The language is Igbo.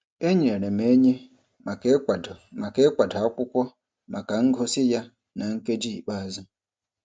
E nyeere m enyi maka ịkwado maka ịkwado akwụkwọ maka ngosi ya na nkeji ikpeazụ.